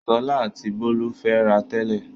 Ṣọlá àti Bólú ń fẹ́ra tẹ́lẹ̀.